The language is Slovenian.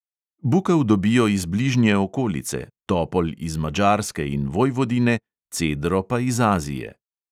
Bukev dobijo iz bližnje okolice, topol iz madžarske in vojvodine, cedro pa iz azije.